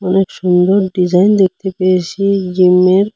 খুব সুন্দর ডিজাইন দেখতে পেয়েছি জিমের।